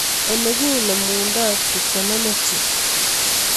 Oleginemunda trigonometry